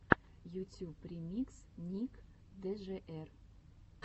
ютюб ремикс ник джр